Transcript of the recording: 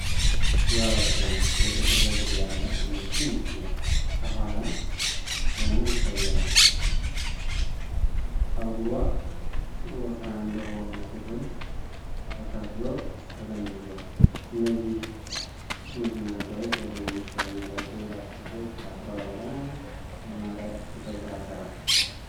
ዋው ሲያምር! የጥቁር ፀጉር ያላት አንዲት ትንሽ ልጅ ከኋላ ሆና ትታያለች። ፀጉሯ ወፍራም በሆኑ ክፍሎች ተከፍሎ ተጠምዝዟል። እነዚህ ጥምዝማዛዎች በትናንሽ ቀለም ያላቸው ላስቲኮች ታስረዋል። በጣም ያማረ የፀጉር አሠራር!